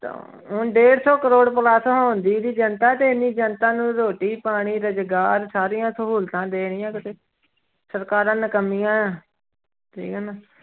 ਡੇਢ ਸੌ ਕਰੌੜ plus ਹੋ ਗਈ ਜਨਤਾ ਤੇ ਇੰਨੀ ਜਨਤਾ ਨੂੰ ਰੋਟੀ ਪਾਣੀ, ਰੁਜ਼ਗਾਰ ਸਾਰੀਆਂ ਸਹੂਲਤਾਂ ਦੇਣੀਆਂ ਕਿਤੇ ਸਰਕਾਰਾਂ ਨਿਕੰਮੀਆਂ ਹੈ, ਠੀਕ ਹੈ ਨਾ।